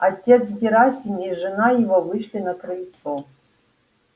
отец герасим и жена его вышли на крыльцо